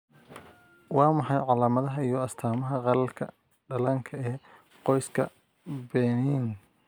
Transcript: Waa maxay calaamadaha iyo astaamaha qallalka dhallaanka ee qoyska Benign?